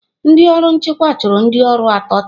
Ndị ọrụ nchịkwa chụrụ ndị ọrụ atọ taa.